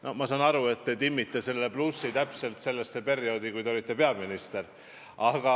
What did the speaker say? No ma saan nii aru, et te timmisite plussi täpselt sellesse perioodi, kui teie olite peaminister.